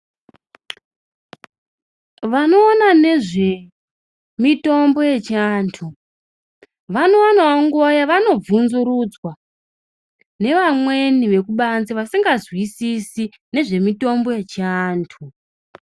Vanoona nezvemitombo yechianthu vanowanawo nguwa yavano bvunzurudzwa nevamweni vekubanze vasingazwisisi nezvemitombo yechianthu.